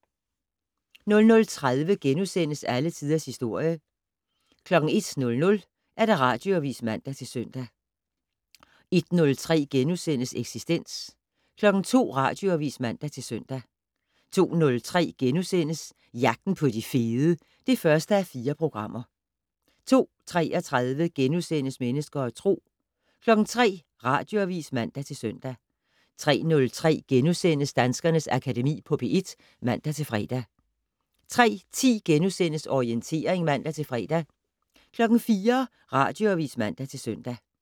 00:30: Alle Tiders Historie * 01:00: Radioavis (man-søn) 01:03: Eksistens * 02:00: Radioavis (man-søn) 02:03: Jagten på de fede (1:4)* 02:33: Mennesker og Tro * 03:00: Radioavis (man-søn) 03:03: Danskernes Akademi på P1 *(man-fre) 03:10: Orientering *(man-fre) 04:00: Radioavis (man-søn)